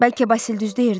Bəlkə Basil düz deyirdi.